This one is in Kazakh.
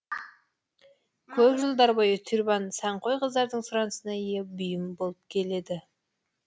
көп жылдар бойы тюрбан сәнқой қыздардың сұранысына ие бұйым болып келеді